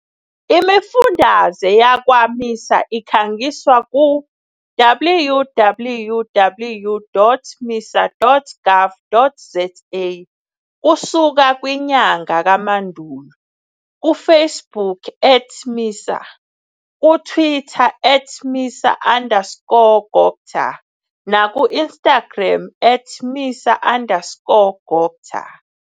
Imifundaze yakwa-MISA ikhangiswa ku-www.misa.gov.za kusuka kwinyanga kaMandulo, kuFacebook @MISA, kuTwitter @MISA_CoGTA nakuInstagram @MISA_CoGTA.